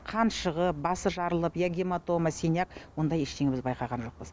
қан шығып басы жарылып я гематома синяк ондай ештеңе біз байқаған жоқпыз